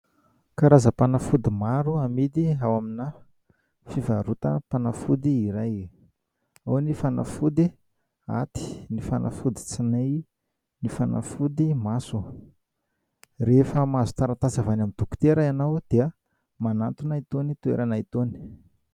Karazam-panafody maro amidy ao amina fivarotam-panafody iray, ao ny fanafody aty, ny fanafody tsinay, ny fanafody maso. Rehefa mahazo taratasy avy any amin'ny dokotera ianao dia manantona itony toerana itony.